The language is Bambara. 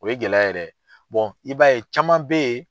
O ye gɛlɛya ye dɛ, i b'a ye caman be yen